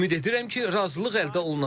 Ümid edirəm ki, razılıq əldə olunacaq.